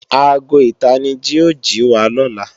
Aago ìtanijí ó jìwa lọ́la